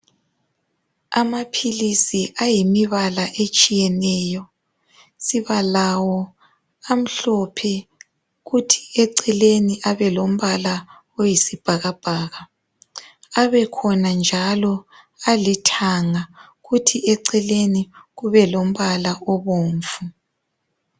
Amaphilisi ayimibala etshiyeneyo. Sibalawo amhlophe, kuthi eceleni abe lombala oyisibhakabhaka. Abekhona njalo alithanga, kuthi eceleni kube lombala obomvu.